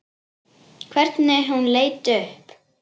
Hvernig hún leit upp.